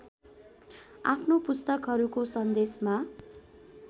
आफ्नो पुस्तकहरूको सन्देशमा